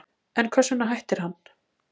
En hvers vegna hættir hann?